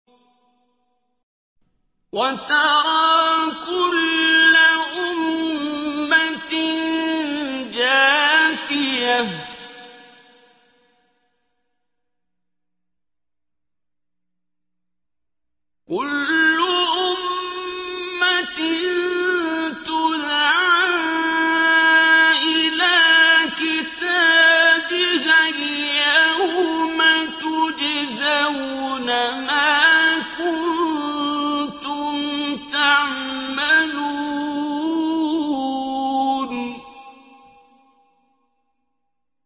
وَتَرَىٰ كُلَّ أُمَّةٍ جَاثِيَةً ۚ كُلُّ أُمَّةٍ تُدْعَىٰ إِلَىٰ كِتَابِهَا الْيَوْمَ تُجْزَوْنَ مَا كُنتُمْ تَعْمَلُونَ